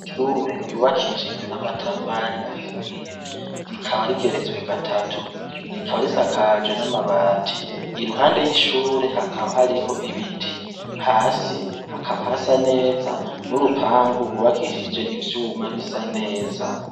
Ishure ryubakishijwe n’amatafari ahiye rikaba rigeretswe gatatu rikaba risakajwe n’amabati, iruhande yishure hakaba hariho ibiti, hasi hakaba hasa neza n’urupangu rwubakishije ivyuma bisa neza.